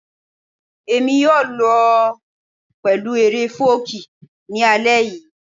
Èmi yóò lọ pẹ̀lú eré fọ́ọ̀kí ní alẹ́ yìí